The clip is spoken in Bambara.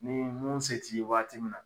Ni mun se t'i ye waati min na